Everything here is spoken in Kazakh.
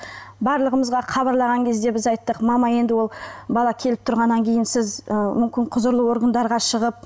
барлығымызға хабарлаған кезде біз айттық мама енді ол бала келіп тұрғаннан кейін сіз ы мүмкін құзырлы органдарға шығып